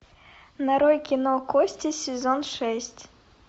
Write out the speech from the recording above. нарой кино кости сезон шесть